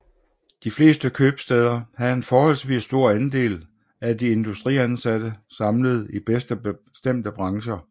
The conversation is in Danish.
De fleste købstæder havde en forholdsvis stor andel af de industriansatte samlede i bestemte brancher